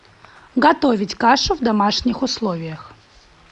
готовить кашу в домашних условиях